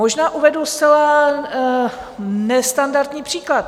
Možná uvedu zcela nestandardní příklad.